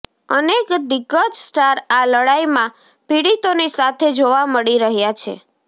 અનેક દિગ્ગજ સ્ટાર આ લડાઈમાં પીડિતોની સાથે જોવા મળી રહ્યા છે